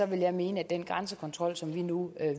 vil jeg mene at den grænsekontrol som vi nu